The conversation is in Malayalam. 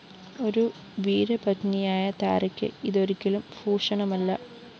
ഒരു വീരപത്‌നിയായ താരയ്ക്ക് ഇതൊരിക്കലും ഭൂഷണമല്ല